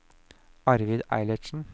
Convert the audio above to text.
Arvid Eilertsen